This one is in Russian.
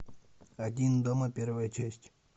один дома первая часть